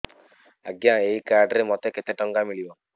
ଆଜ୍ଞା ଏଇ କାର୍ଡ ରେ ମୋତେ କେତେ ଟଙ୍କା ମିଳିବ